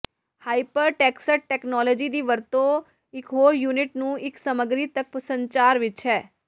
hypertext technology ਦੀ ਵਰਤੋ ਇਕ ਹੋਰ ਯੂਨਿਟ ਨੂੰ ਇੱਕ ਸਮੱਗਰੀ ਤੱਕ ਸੰਚਾਰ ਵਿੱਚ ਹੈ